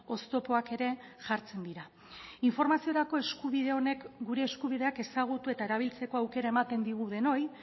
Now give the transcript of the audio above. oztopoak ere jartzen dira informaziorako eskubide honek gure eskubideak ezagutu eta erabiltzeko aukera ematen digu denoi